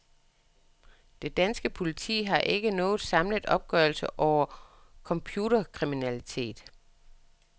Det danske politi har ikke nogen samlet opgørelse over computerkriminalitet.